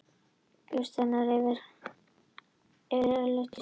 Til dæmis er hér hreint ekki ljóst að allar geimverur fari yfirleitt í sturtu.